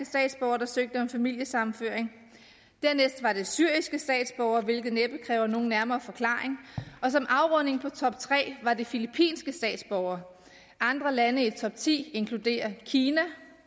statsborgere der søgte om familiesammenføring dernæst var det syriske statsborgere hvilket næppe kræver nogen nærmere forklaring og som afrunding på toptre var det filippinske statsborgere andre lande i topti inkluderer kina